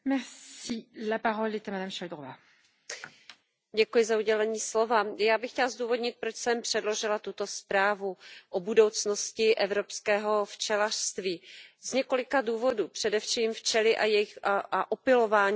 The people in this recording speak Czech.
Já bych chtěla zdůvodnit, proč jsem předložila tuto zprávu o budoucnosti evropského včelařství. Z několika důvodů, především včely a opylování rostlin mají pro udržitelnou zemědělskou produkci zásadní význam.